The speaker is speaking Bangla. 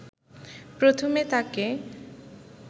প্রথমে তাকে